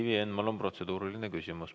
Ivi Eenmaal on protseduuriline küsimus.